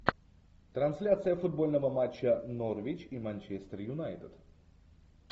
трансляция футбольного матча норвич и манчестер юнайтед